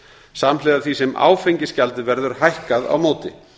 samhliða því sem áfengisgjaldið verður hækkað á móti